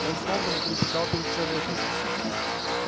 он снова затрепетал перед человеком